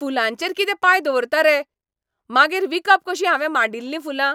फुलांचेर कितें पांय दवरता रे. मागीर विकप कशीं हावें माड्डिल्लीं फुलां?